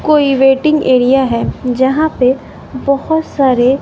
कोई waiting area है जहां पे बहोत सारे--